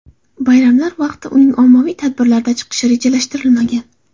Bayramlar vaqtida uning ommaviy tadbirlarda chiqishi rejalashtirilmagan.